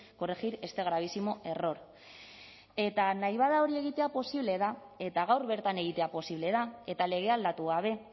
corregir este gravísimo error eta nahi bada hori egitea posible da eta gaur bertan egitea posible da eta legea aldatu gabe